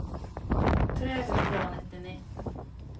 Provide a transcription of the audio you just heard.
tre hundre og nittini